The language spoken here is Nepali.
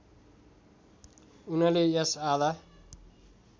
उनले यस आधा